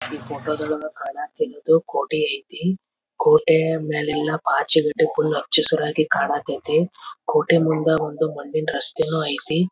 ಈ ಫೋಟೋ ದೊಳಗ ಕಾನಾ ತಿರೋದು ಕೋಟೆ ಐತಿ ಕೋಟೆ ಮೇಲೆಲ್ಲಾ ಪಾಚಿ ಕಟ್ಟಿ ಕೋಟೆ ಮುಂದೆ ಒಂದು ಮಣ್ಣಿನ ರಸ್ತೆನು ಐತಿ.